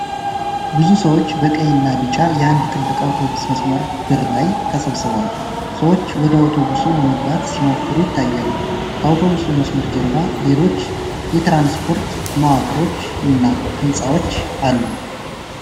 ብዙ ሰዎች በቀይና ቢጫ የአንድ ትልቅ አውቶቡስ መስመር በር ላይ ተሰብስበዋል። ሰዎች ወደ አውቶቡሱ ለመግባት ሲሞክሩ ይታያሉ። ከአውቶቡሱ መስመር ጀርባ ሌሎች የትራንስፖርት መዋቅሮችና ህንጻዎች አሉ።